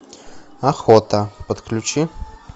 охота подключи